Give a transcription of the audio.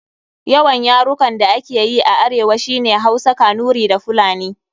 Yawan yarukan da ake yi a arewa shi ne Hausa, Kanuri da Fulani.